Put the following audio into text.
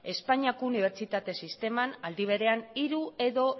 espainiako unibertsitateko sisteman aldi berean hiru edo